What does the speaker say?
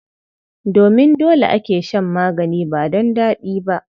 Domin dole ake shan magani ba don daɗi ba.